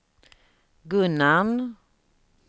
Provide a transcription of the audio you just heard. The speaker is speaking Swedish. Gunnarn